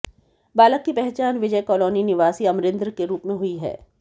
बालक की पहचान विजय कालोनी निवासी अमरिन्द्र के रूप में हुई है